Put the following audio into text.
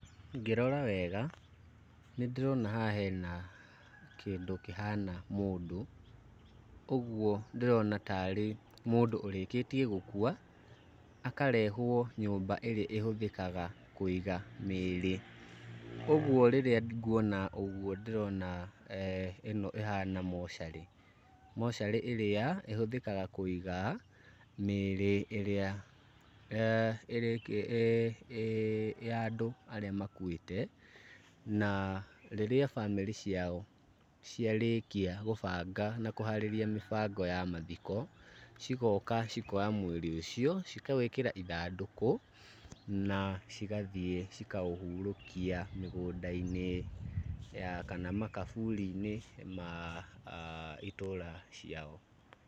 Ngĩrora wega nĩndĩrona haha hena kĩndũ kĩhana mũndũ ũguo ndĩrona tarĩ mũndũ ũrĩkĩtie gũkua akarehwo nyũmba ĩrĩa ĩhũthĩkaga kũiga mĩĩrĩ ũguo rĩrĩa nguona ũguo ndĩrona ĩno ĩhana mocarĩ, mocarĩ ĩrĩa ĩhũthikaga kũiga mĩĩrĩ ĩrĩa ya andũ arĩa makuĩte. Na rĩrĩa bamĩrĩ ciao ciarĩkia kũbanga na kũharĩria mĩbango ya mathiko cigoka cikoya mwĩrĩ ũcio, cikawĩkĩra ithandũkũ na cigathiĩ cikaũhurũkia mĩgũnda-inĩ ya kana makaburi-inĩ ma itũra ciao.